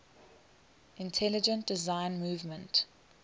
intelligent design movement